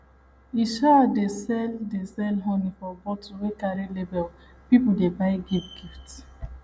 e um dey sell dey sell honey for bottle wey carry label people dey buy give gift